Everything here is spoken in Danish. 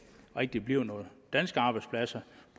rigtig bliver nogen danske arbejdspladser